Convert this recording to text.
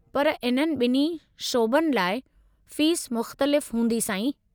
पर इन्हनि ॿिन्ही शोबनि लाइ फ़ीस मुख़्तलिफ़ हूंदी, साईं।